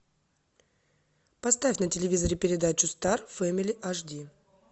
поставь на телевизоре передачу стар фэмили аш ди